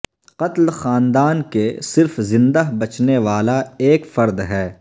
قتل خاندان کے صرف زندہ بچنے والا ایک فرد ہے